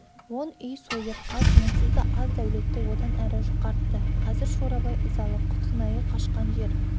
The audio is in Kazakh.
он үй сойырқас онсыз да аз дәулетті одан әрі жұқартты қазір шорабай ызалы құтынайы қашқан жер